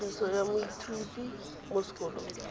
ikwadiso ya moithuti mo sekolong